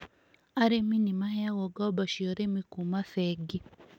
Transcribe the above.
Arĩmi nĩ maheagwo ngombo cia ũrĩmi kuuma bengi.